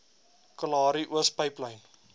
kalahari oos pyplyn